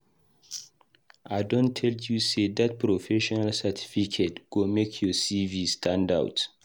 I don tell you sey dat professional certificate go make your CV stand out.